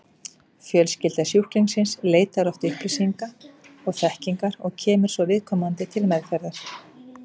Fjölskylda sjúklingsins leitar oft upplýsinga og þekkingar og kemur svo viðkomandi til meðferðar.